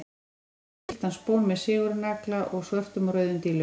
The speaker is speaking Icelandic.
Hann hnýtti á gylltan spón með sigurnagla og svörtum og rauðum dílum.